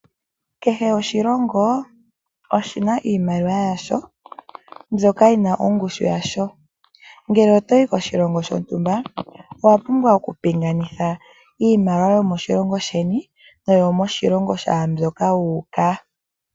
Kehe oshilongo oshi na iimaliwa yasho mbyoka yi na ongushu yasho. Ngele otoyi koshilongo shontumba, owa pumbwa oku pingatha iimaliwa yomoshilongo sheni noyomoshilongo shaambyoka wu uka.